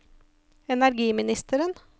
energiministeren